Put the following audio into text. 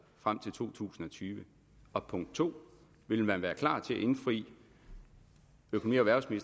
frem til 2020 og punkt 2 vil man være klar til at indfri økonomi